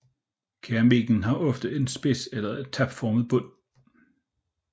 Keramikken har ofte en spids eller tapformet bund